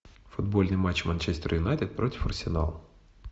футбольный матч манчестер юнайтед против арсенала